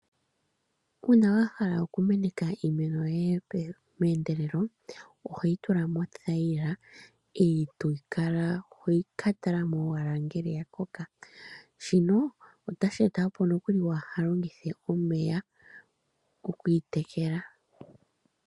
Uuna wahala okumeneka iimeno yoye meendelelo ohoyi tula mothayila eto kala hoka tala mo owala ngele oyakoka, shino otashi eta noku wahalongithe omeya okuyi tekela.